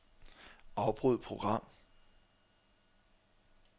Afbryd program.